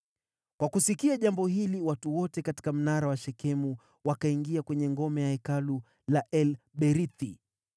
Kwa kusikia jambo hili watu wote katika mnara wa Shekemu, wakaingia kwenye ngome ya hekalu la El-Berithi.